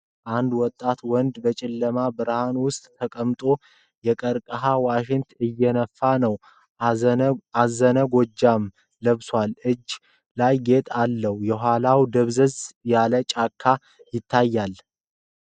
አንድ ወጣት ወንድ በጨለማ ብርሃን ውስጥ ተቀምጦ የቀርከሃ ዋሽንት እየነፋ ነው። አዘነ ጎጃም ለብሷል። እጁ ላይ ጌጥ አለ። የኋላው ደብዛዛ ጫካ ይታያል።